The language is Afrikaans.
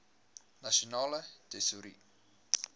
nasionale tesourie